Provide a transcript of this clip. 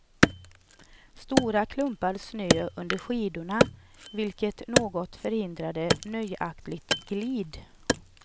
Stora klumpar snö under skidorna, vilket något förhindrade nöjaktigt glid.